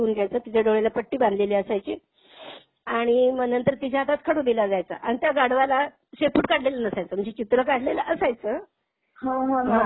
त्या व्यक्तीने आधी ते चित्र बघून घ्यायचं. त्याच्या डोळ्याला पट्टी बांधलेली असायची आणि मग नंतर त्याच्या हातात खडू दिला जायचा आणि त्या गाढवाला शेपूट काढलेलं नसायचं म्हणजे चित्र काढलेलं असायचं